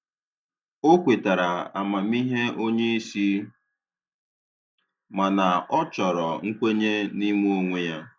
O kwetara amamihe onye isi, mana ọ chọrọ nkwenye n'ime onwe ya.